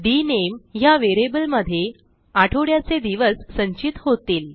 डीएनएमई ह्या व्हेरिएबलमध्ये आठवड्याचे दिवस संचित होतील